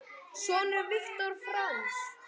Sonur Viktor Franz.